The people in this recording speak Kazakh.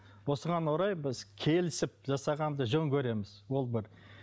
осыған орай біз келісіп жасағанды жөн көреміз ол бір